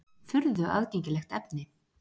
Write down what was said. Furðu aðgengilegt efni!